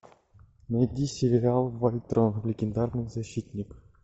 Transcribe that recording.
найди сериал вольтрон легендарный защитник